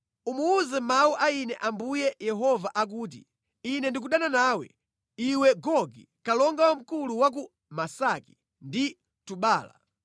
Umuwuze mawu a Ine Ambuye Yehova akuti, ‘Ine ndikudana nawe, iwe Gogi, kalonga wamkulu wa ku Mesaki ndi Tubala.